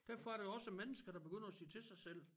Derfor er der også mennesker der begynder at sige til sig selv